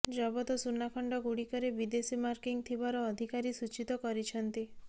ଜବତ ସୁନାଖଣ୍ଡ ଗୁଡିକରେ ବିଦେଶୀ ମାର୍କିଂ ଥିବାର ଅଧିକାରୀ ସୂଚିତ କରିଛନ୍ତି